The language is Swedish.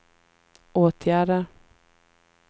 åtgärder